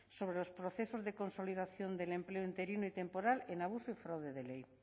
sobre los procesos de consolidación del empleo interino y temporal en abusos fraude de ley